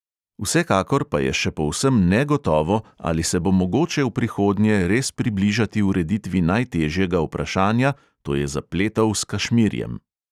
Vsekakor pa je še povsem negotovo, ali se bo mogoče v prihodnje res približati ureditvi najtežjega vprašanja, to je zapletov s kašmirjem.